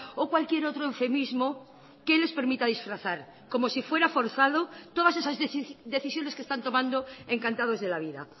o cualquier otro eufemismo que les permita disfrazar como si fuera forzado todas esas decisiones que están tomando encantados de la vida